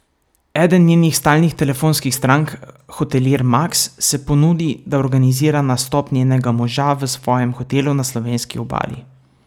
Eden njenih stalnih telefonskih strank, hotelir Maks, se ponudi, da organizira nastop njenega moža v svojem hotelu na slovenski obali.